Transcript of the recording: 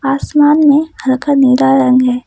आसमान में हल्का नीला रंग है।